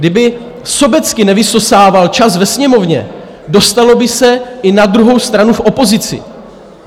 Kdyby sobecky nevysosával čas ve Sněmovně, dostalo by se i na druhou stranu v opozici.